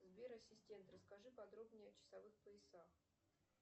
сбер ассистент расскажи подробнее о часовых поясах